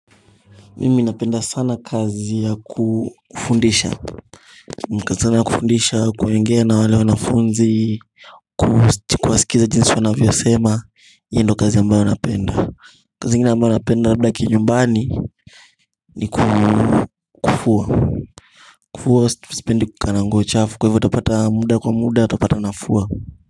Mimi napenda sana kazi ya kufundisha Mkazi sana ya kufundisha kuongea na wale wanafunzi Kuwasikiza jinsi wanavyosema, hii ndo kazi ambayo napenda kazi ingine ambayo napenda labda kinyumbani ni kufua. Kufua sipendi kukaa nguo chafu kwa hivyo utapata muda kwa muda utapata nafua.